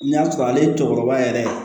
N'i y'a sɔrɔ ale cɛkɔrɔba yɛrɛ